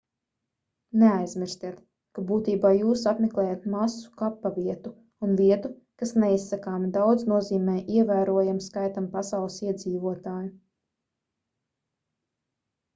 neaizmirstiet ka būtībā jūs apmeklējat masu kapavietu un vietu kas neizsakāmi daudz nozīmē ievērojamam skaitam pasaules iedzīvotāju